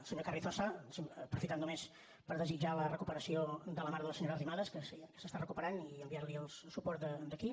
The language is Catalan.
senyor carrizosa aprofitar només per desitjar la recuperació de la mare de la senyora arrimadas que s’està recuperant i enviarli el suport d’aquí